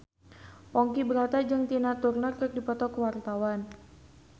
Ponky Brata jeung Tina Turner keur dipoto ku wartawan